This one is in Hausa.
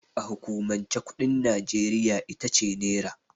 A hukumance kuɗin Nijeriya itace Nera.